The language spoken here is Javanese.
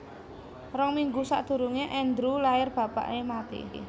Rong minggu sakdurunge Andrew lair bapake mati